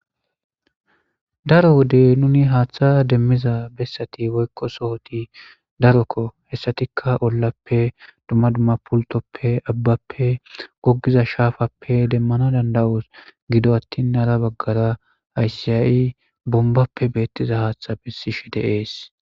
Daro wodey nuni haaththa demmiza bessati woykko sohoti darokko hessatikka ollappe dumma dumma pultoppe abbappe gogiza shaafappe demmana danda7os gido attin hara baggara ayssiya7i bombappe beettiza haaththa bessishe deees.